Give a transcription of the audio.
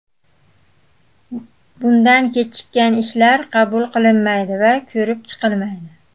Bundan kechikkan ishlar qabul qilinmaydi va ko‘rib chiqilmaydi.